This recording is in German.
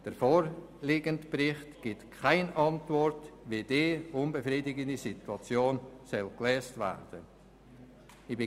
Der vorliegende Bericht gibt keine Antwort, wie die unbefriedigende Situation gelöst werden soll.